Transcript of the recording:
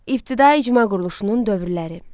İbtidai icma quruluşunun dövrləri.